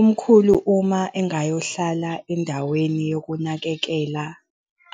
Umkhulu uma engayohlala endaweni yokunakekela